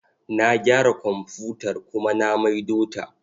Na gyara komfutar kuma na maido ta.